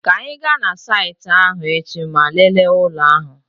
Ka anyị gaa na saịtị ahụ echi ma lelee ụlọ ahụ.